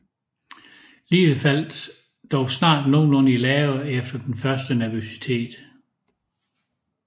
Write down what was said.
Livet faldt dog snart nogenlunde i lave efter den første nervøsitet